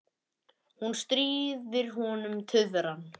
Hún stríðir honum tuðran.